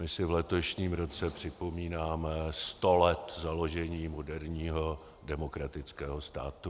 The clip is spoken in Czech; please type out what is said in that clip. My si v letošním roce připomínáme sto let založení moderního demokratického státu.